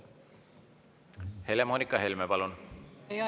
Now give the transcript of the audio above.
Helle-Moonika Helme, palun!